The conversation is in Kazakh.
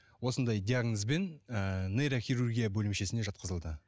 осындай диагнозбен ыыы нейрохирургия бөлімшесіне жатқызылды